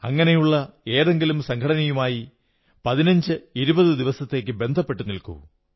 അങ്ങനെയുള്ള ഏതെങ്കിലും സംഘടനയുമായി പതിനഞ്ചുഇരുപതു ദിവസത്തേക്കു ബന്ധപ്പെട്ടു നിൽക്കൂ